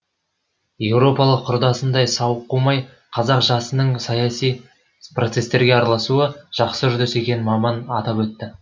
еуропалық құрдасындай сауық қумай қазақ жасының саяси процестерге араласуы жақсы үрдіс екенін маман атап өтті